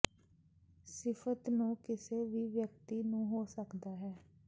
ਸਿਫਤ ਨੂੰ ਕਿਸੇ ਵੀ ਵਿਅਕਤੀ ਨੂੰ ਹੋ ਸਕਦਾ ਹੈ